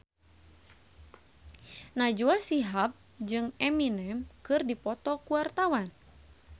Najwa Shihab jeung Eminem keur dipoto ku wartawan